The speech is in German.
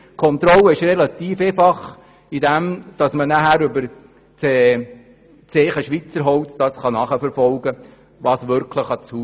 Die Kontrolle ist relativ einfach, indem man über das Zeichen «Schweizer Holz» eine Nachverfolgung macht.